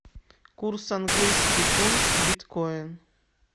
курс английский фунт биткоин